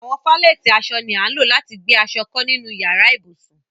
Àwọn falẹ̀tí àṣọ ni à ńlọ̀ lati gbẹ aṣọ̀ kọ ninu yàrà-íbusùn.